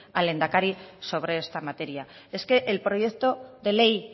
al lehendakari sobre este materia es que el proyecto de ley